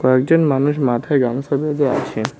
একজন মানুষ মাথায় গামছা বেঁধে আছে।